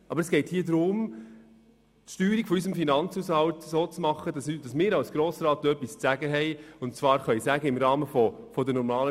Aber es geht darum, die Steuerung unseres Finanzhaushalts so zu gestalten, dass wir als Grosser Rat etwas zu sagen haben.